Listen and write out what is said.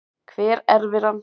Hver erfir hann?